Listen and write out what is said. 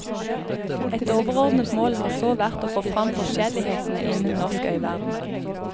Et overordnet mål har så vært å få fram forskjellighetene innen norsk øyverden.